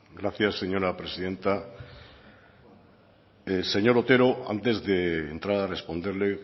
gracias señora presidenta señor otero antes de entrar a responderle